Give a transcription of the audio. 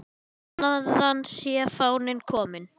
Þaðan sé fáninn kominn.